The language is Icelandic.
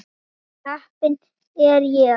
Ó heppin er ég.